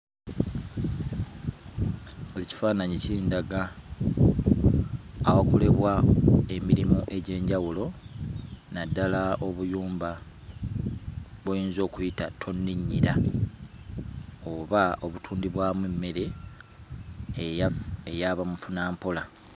Ekifaananyi kindaga awakolebwa emirimu egy'enjawulo naddala obuyumba bw'oyinza okuyita tonninnyira oba obutundibwamu emmere eya, eyabamufunampola.